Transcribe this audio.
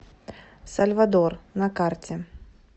сальвадор на карте